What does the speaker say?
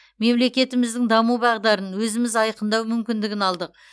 мемлекетіміздің даму бағдарын өзіміз айқындау мүмкіндігін алдық